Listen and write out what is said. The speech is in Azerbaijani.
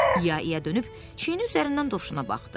İya İya dönüb çiyini üzərindən dovşana baxdı.